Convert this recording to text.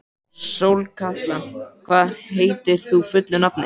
Sólkatla, hvað heitir þú fullu nafni?